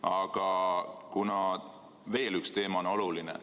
Aga veel üks teema on oluline.